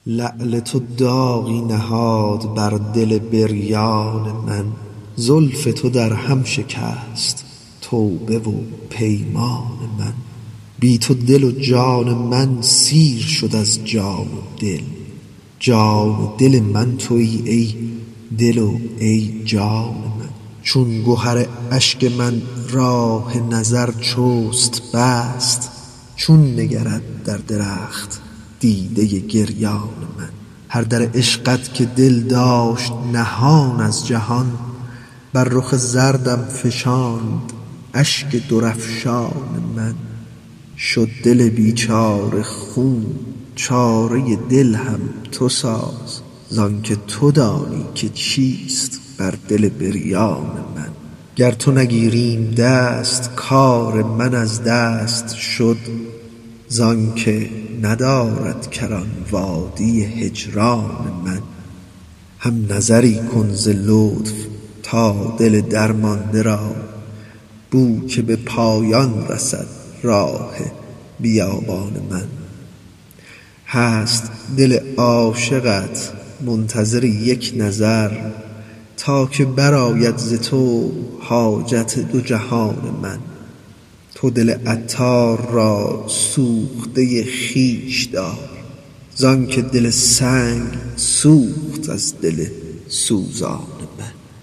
لعل تو داغی نهاد بر دل بریان من زلف تو در هم شکست توبه و پیمان من بی تو دل و جان من سیر شد از جان و دل جان و دل من تویی ای دل و ای جان من چون گهر اشک من راه نظر چست بست چون نگرد در رخت دیده گریان من هر در عشقت که دل داشت نهان از جهان بر رخ زردم فشاند اشک درافشان من شد دل بیچاره خون چاره دل هم تو ساز زانکه تو دانی که چیست بر دل بریان من گر تو نگیریم دست کار من از دست شد زانکه ندارد کران وادی هجران من هم نظری کن ز لطف تا دل درمانده را بو که به پایان رسد راه بیابان من هست دل عاشقت منتظر یک نظر تا که برآید ز تو حاجت دو جهان من تو دل عطار را سوخته خویش دار زانکه دل سنگ سوخت از دل سوزان من